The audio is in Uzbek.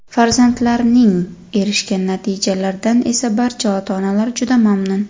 Farzandlarining erishgan natijalardan esa barcha ota-onalar juda mamnun.